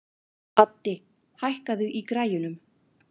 Addi, hækkaðu í græjunum.